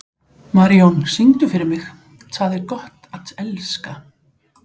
Marijón, syngdu fyrir mig „Tað er gott at elska“.